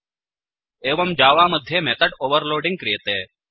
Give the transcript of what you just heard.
एवं जावा मध्ये method overloading क्रियते